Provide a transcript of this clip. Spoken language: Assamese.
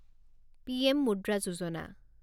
পিএম মুদ্ৰা যোজনা